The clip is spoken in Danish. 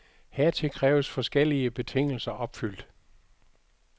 Hertil kræves forskellige betingelser opfyldt.